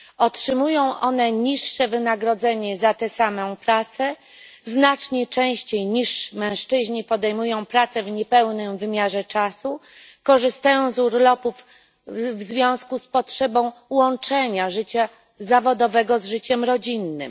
Otrzymują one niższe wynagrodzenie za tę samą pracę, znacznie częściej niż mężczyźni podejmują pracę w niepełnym wymiarze czasu, korzystają z urlopów w związku z potrzebą łączenia życia zawodowego z życiem rodzinnym.